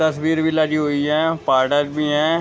तस्वीर भी लगी हुई है पाडर भी है।